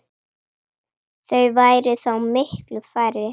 Þau væru þá miklu færri.